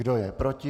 Kdo je proti?